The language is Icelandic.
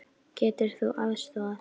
Getur þú aðstoðað?